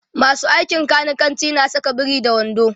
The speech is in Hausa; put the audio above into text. masu aikin kanikanci na Saka biri da wando